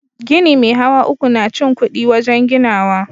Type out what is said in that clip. Gini me hawa uku na cin kudi wajen ginawa.